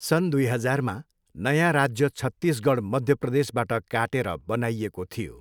सन् दुई हजारमा, नयाँ राज्य छत्तिसगढ मध्य प्रदेशबाट काटेर बनाइएको थियो।